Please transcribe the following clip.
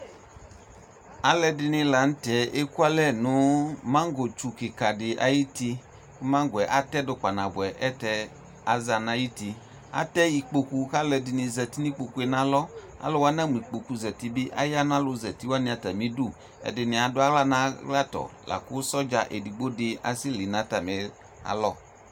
Alʋ ɛdini lanʋ tɛ ekʋalɛ nʋ mangotsʋ kikadi ayʋ ʋti mangɔɛ atɛdʋ kpaa nabʋɛ ayʋ ɛlʋtɛ aza nʋ ayʋ ʋti atɛ ikpokʋ kʋ alʋ ɛdini zanʋ ikpokʋe nʋ alɔ alʋwa namu ikpokʋ zatibi aya nʋ alʋ zati wani ayʋ idʋ ɛdini adʋ aɣla nʋ aɣlatɔ lakʋ sɔdza edigbodi asɛli nʋ atami alɔ